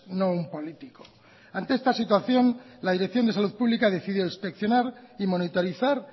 no un político ante esta situación la dirección de salud pública decidió inspeccionar y monitorizar